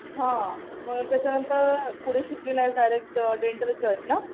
हा. मग त्याच्यानंतर पुढे शिकली नाहीस. डायरेक्ट डेंटलच जॉईन ना.